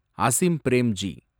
Asim Premji